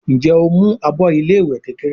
Njé o ń mú àbọ ilé ìwé kékeré?